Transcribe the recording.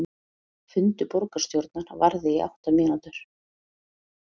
Fundur borgarstjórnar varði í átta mínútur